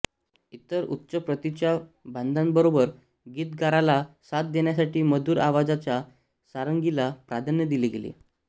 इतर उच्च प्रतीच्या वाद्यांबरोबर गीतकाराला साथ देण्यासाठी मधुर आवाजाच्या सारंगीला प्राधान्य दिले गेले